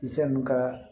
Misɛn kaa